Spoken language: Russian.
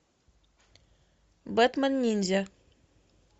бэтмен ниндзя